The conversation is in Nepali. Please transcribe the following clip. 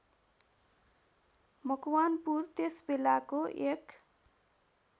मकवानपुर त्यसबेलाको एक